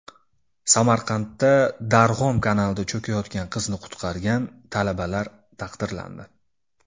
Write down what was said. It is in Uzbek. Samarqandda Darg‘om kanalida cho‘kayotgan qizni qutqargan talabalar taqdirlandi.